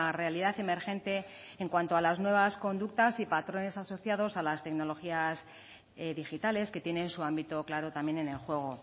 realidad emergente en cuanto a las nuevas conductas y patrones asociados a las tecnologías digitales que tienen su ámbito claro también en el juego